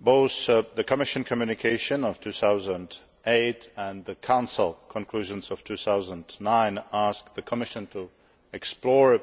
Both the Commission communication of 2008 and the Council conclusions of 2009 ask the Commission to explore